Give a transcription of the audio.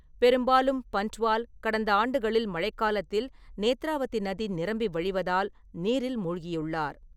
பெரும்பாலும் பன்ட்வால் கடந்த ஆண்டுகளில் மழைக்காலத்தில் நேத்ராவதி நதி நிரம்பி வழிவதால் நீரில் மூழ்கியுள்ளார்.